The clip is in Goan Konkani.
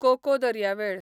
कोको दर्यावेळ